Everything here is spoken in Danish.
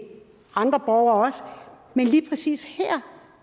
borgere men lige præcis her